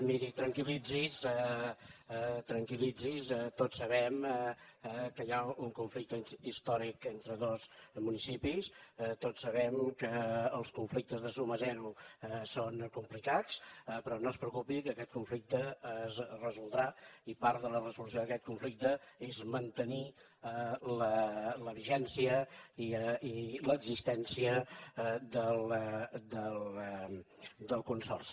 miri tranquil·litzi’s tranquilconflicte històric entre dos municipis tots sabem que els conflictes de suma zero són complicats però no es preocupi que aquest conflicte es resoldrà i part de la resolució d’aquest conflicte és mantenir la vigència i l’existència del consorci